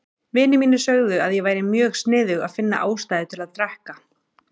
Vinir mínir sögðu að ég væri mjög sniðug að finna ástæðu til að drekka.